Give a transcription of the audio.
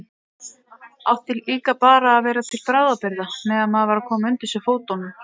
Átti líka bara að vera til bráðabirgða meðan maður var að koma undir sig fótunum.